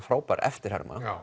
frábær eftirherma